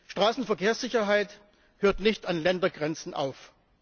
Straßenverkehrssicherheit hört nicht an Ländergrenzen auf.